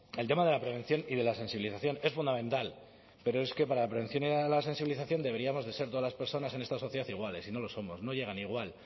el tema de la prevención y de la sensibilización es fundamental pero es que para la prevención y la sensibilización deberíamos de ser todas las personas en esta sociedad iguales y no lo somos no llegan igual